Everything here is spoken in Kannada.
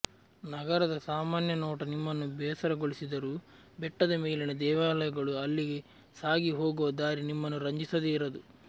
ನಗರದ ಸಾಮಾನ್ಯ ನೋಟ ನಿಮ್ಮನ್ನು ಬೇಸರಗೊಳಿಸಿದರೂ ಬೆಟ್ಟದ ಮೇಲಿನ ದೇವಾಲಯಗಳು ಅಲ್ಲಿಗೆ ಸಾಗಿ ಹೋಗುವ ದಾರಿ ನಿಮ್ಮನ್ನು ರಂಜಿಸದೇ ಇರದು